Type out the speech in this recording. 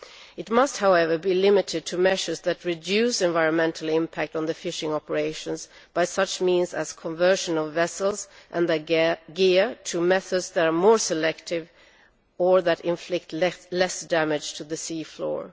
It must, however, be limited to measures which reduce the environmental impact of the fishing operations by such means as the conversion of vessels and gear to methods which are more selective or inflict less damage to the sea floor.